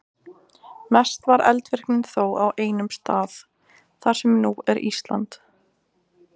Mest var eldvirknin þó á einum stað, þar sem nú er Ísland.